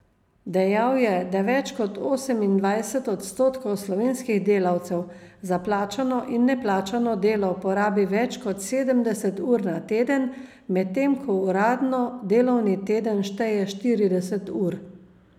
Dejal je, da več kot osemindvajset odstotkov slovenskih delavcev za plačano in neplačano delo porabi več kot sedemdeset ur na teden, medtem ko uradno delovni teden šteje štirideset ur.